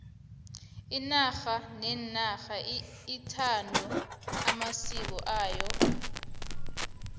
inarha nenarha ithanda amasiko ayo